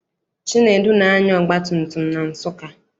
Chinedu na-anya ọgbatumtum na Nsụka.